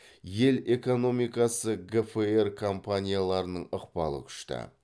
ел экономикасы гфр компанияларының ықпалы күшті